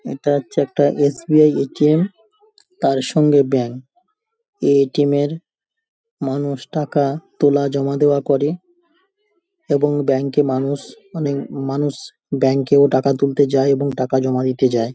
এটা হচ্ছে একটা এস.বি.আই. এ.টি.এম. তার সঙ্গে ব্যাঙ্ক । এই এ.টি.এম. এর মানুষ টাকা তোলা জমা দেওয়া করে এবং ব্যাঙ্ক এ মানুষ অনেক মানুষ ব্যাঙ্ক এ টাকা তুলতে যায় এবং টাকা জমা দিতে যায়।